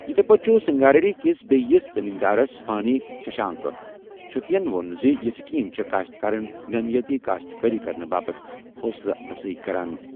یِتھے پٲٹھۍ چھُ سنگاریڈی کِس بیٚیِس زمیٖن دارس فانی ششانک چھنتیَن ووٚن زِ یہِ سکیٖم چھِ کٔاشتکارن نامیٲتی کاشت کٲری کرنہٕ باپتھ حوصلہٕ اَفزٲیی کران۔